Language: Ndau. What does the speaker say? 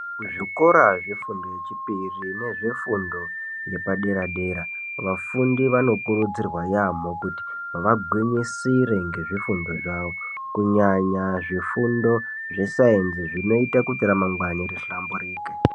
Kuzvikora zvefundo yechipiri nezvefundo yepadera dera vafundi vanokuridzirwa yambo kuti vagwinyisire ngezvifundo zvavo kunyanya zvifundo zvesainzi zvinoite kuti ramangwani rihlamburike